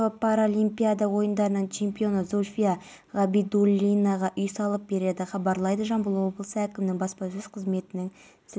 жалын таңғы та толықтай ауыздықталған бұл жұмыстарға тонна су мен арнайы сұйықтық жеткізген поезд пен